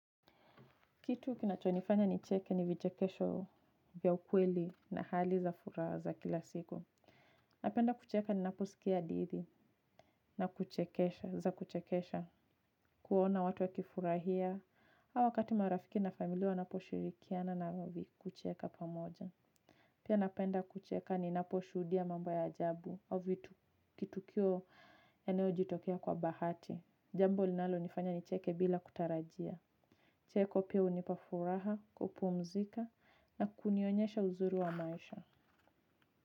Kitu kinachonifanya nicheke ni vichekesho vya ukweli na hali za furaha za kila siku. Napenda kucheka ninaposikia hadithi za kuchekesha kuona watu wakifurahia au wakati marafiki na familia wanaposhirikiana nami kucheka pamoja. Pia napenda kucheka ninaposhuhudia mambo ya ajabu au vitu kitukio eneo jitokia kwa bahati. Jambo linalo nifanya nicheke bila kutarajia. Kicheko pia hunipafuraha, kupumzika na kunionyesha uzuri wa maisha.